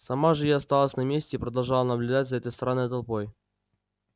сама же я осталась на месте и продолжала наблюдать за этой странной толпой